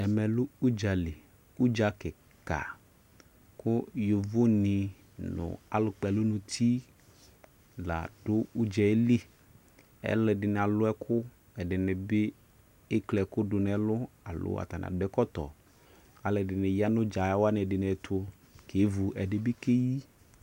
Ɛmɛ lɛ udzali, udza kika ko yovo ne no alu kpɛlu nuti la do udze liƐlɛde ne alu ɛko, ɛde ne be ekple ɛku do no ɛlu alo atane ado ɛkɔtɔAlɛde ne ya no udza wane ɛde ne ɛto kevu, ɛde be keyi